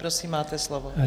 Prosím, máte slovo.